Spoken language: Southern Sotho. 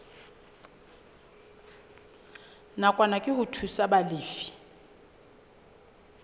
nakwana ke ho thusa balefi